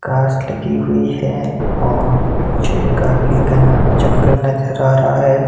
घास लगी हुई है और पीछे काफी घना जंगल नजर आ रहा है।